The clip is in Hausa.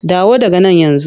Dawo daga nan yanzu!